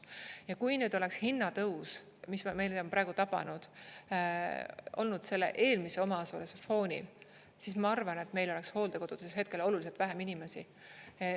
Ja kui nüüd oleks hinnatõus, mis meid on praegu tabanud, olnud selle eelmise omaosaluse foonil, siis ma arvan, et meil oleks hooldekodudes hetkel oluliselt vähem inimesi.